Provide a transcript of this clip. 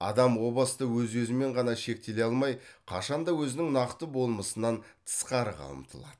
адам о баста өз өзімен ғана шектеле алмай қашанда өзінің нақты болмысынан тысқарыға ұмтылады